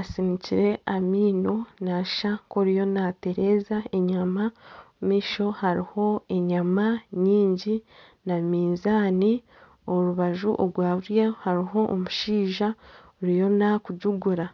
asinikire amaino nashusha nka oriyo natereza enyama ,omumaisho hariho enyama nyingi na minzaani orubaju orwa buryo hariho omushaija oruho n'akugigura